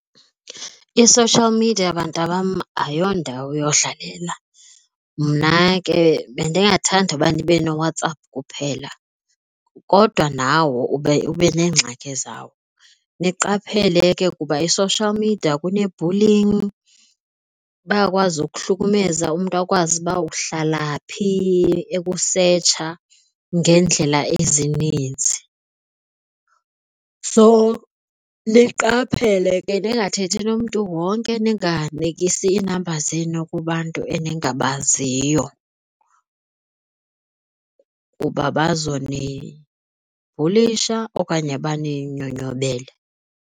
I-social media bantabam ayiyo ndawo yodlalela, mna ke bendingathanda uba ndibe nooWhatsApp kuphela kodwa nawo ube ube nengxaki zawo. Niqaphele ke kuba i-social media kune-bullying, bayakwazi ukuhlukumeza umntu akwazi uba uhlala phi ekusetsha ngeendlela ezininzi. So niqaphele ke, ningathethi nomntu wonke, ninganikisi iinamba zenu kubantu eningabaziyo kuba bazonibhulisha okanye baninyonyobele.